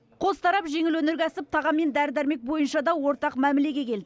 қос тарап жеңіл өнеркәсіп тағам мен дәрі дәрмек бойынша да ортақ мәмілеге келді